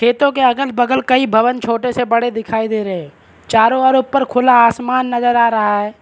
खेतों के अगल बगल कई भवन छोटे से बड़े दिखाई दे रहे हैं चारों ओर ऊपर खुला आसमान नजर आ रहा है।